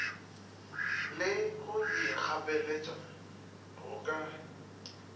le go ikgapeletša go ka